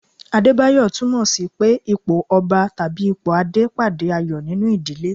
Adebayo tunmo sì pé ipò Ọba tàbí ipò Adé pàdé ayọ̀ nínú ìdílé.